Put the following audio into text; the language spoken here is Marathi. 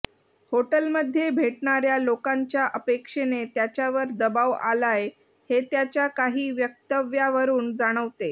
हॉटेलमध्ये भेटणाऱया लोकांच्या अपेक्षेने त्याच्यावर दबाव आलाय हे त्याच्या काही वक्तव्यावरून जाणवते